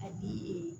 A bi